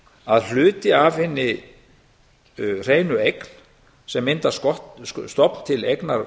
að hluti af hinni hreinu eign sem myndar stofn til eignar